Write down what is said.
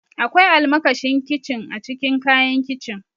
Akwai almakashin kincin a cikin kayan kicin.